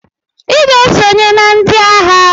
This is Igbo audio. Iga esonye na ndi aha!!